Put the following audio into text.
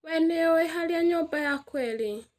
Wee nĩũũĩ harĩa nyũmba yakwa ĩrĩ?